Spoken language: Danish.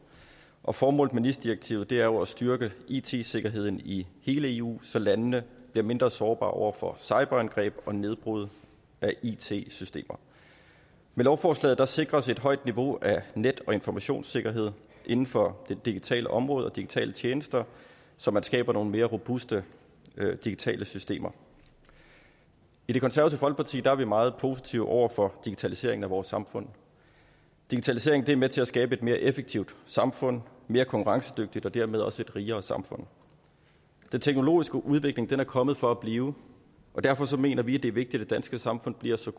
og formålet med nis direktivet er jo at styrke it sikkerheden i hele eu så landene bliver mindre sårbare over for cyberangreb og nedbrud af it systemer med lovforslaget sikres et højt niveau at net og informationssikkerhed inden for det digitale område og de digitale tjenester så man skaber nogle mere robuste digitale systemer i det konservative folkeparti er vi meget positive over for digitaliseringen af vores samfund digitaliseringen er med til at skabe et mere effektivt samfund mere konkurrencedygtigt og dermed også et rigere samfund den teknologiske udvikling er kommet for at blive og derfor mener vi det er vigtigt at det danske samfund bliver så